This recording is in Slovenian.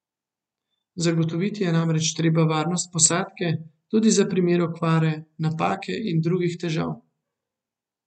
Zagotoviti je namreč treba varnost posadke, tudi za primer okvare, napake in drugih težav.